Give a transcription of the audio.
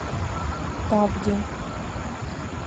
тавде